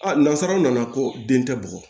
nanzararaw nana ko den tɛ bugɔ